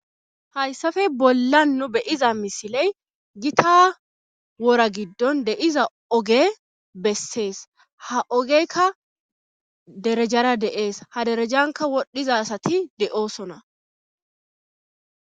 Hayssafe bolla nu beyiza misiley gita wora giddon de7iza oge bessees ha ogeykka derejara deees ha derejanka wodhiza sati de7oosona.